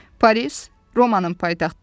Paris Romanın paytaxtıdır.